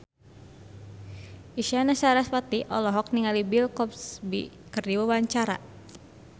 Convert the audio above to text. Isyana Sarasvati olohok ningali Bill Cosby keur diwawancara